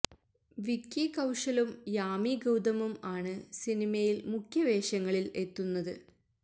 വിക്കി കൌശലും യാമി ഗൌതമും ആണ് സിനിമയില് മുഖ്യ വേഷങ്ങളില് എത്തുന്നത്